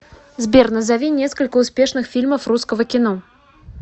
сбер назови несколько успешных фильмов русского кино